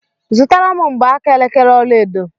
Zụtara m mgbaaka elekere ọlaedo!